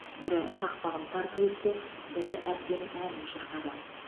бірі тақпағын тарту етсе бірі әсем әнін шырқады